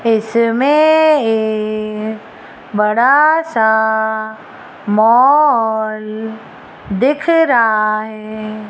इसमें एक बड़ा सा मॉल दिख रहा है।